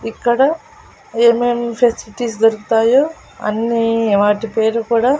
ఇక్కడ ఏమేమ్ ఫెసిలిటీస్ దొరుకుతాయో అన్నీ వాటి పేర్లు కూడా--